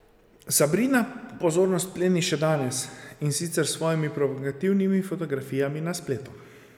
Sabrina pozornost pleni še danes, in sicer s svojimi provokativnimi fotografijami na spletu.